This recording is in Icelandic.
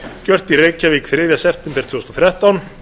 gjört í reykjavík þriðja september tvö þúsund og þrettán